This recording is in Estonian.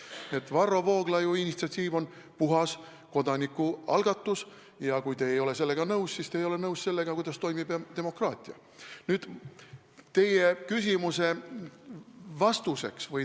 Nii et Varro Vooglaiu initsiatiiv on puhas kodanikualgatus ja kui te ei ole sellega nõus, siis te ei ole nõus sellega, kuidas toimib demokraatia.